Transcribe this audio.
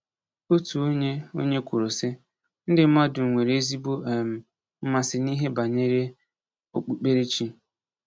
Otu onye onye kwuru sị: “Ndị mmadụ nwere ezigbo um mmasị n’ihe banyere okpukperechi”